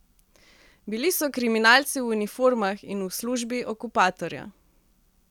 Bili so kriminalci v uniformah in v službi okupatorja.